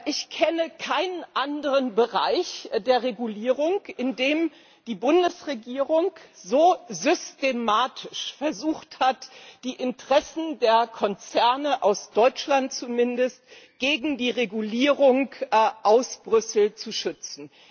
Ich kenne keinen anderen Bereich der Regulierung, in dem die Bundesregierung so systematisch versucht hat, die Interessen der Konzerne aus Deutschland zumindest gegen die Regulierung aus Brüssel zu schützen.